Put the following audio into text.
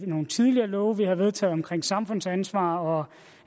nogle tidligere love vi har vedtaget omkring samfundsansvar og